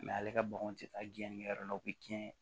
ale ka baganw tɛ taa diɲɛn yɔrɔ dɔ la o bɛ tiɲɛ